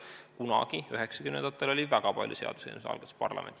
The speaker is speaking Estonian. Kunagi üheksakümnendatel oli väga palju seaduseelnõusid, mille algatas parlament.